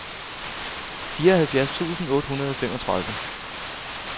fireoghalvfjerds tusind otte hundrede og femogtredive